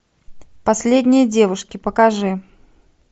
последние девушки покажи